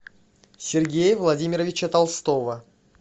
сергея владимировича толстова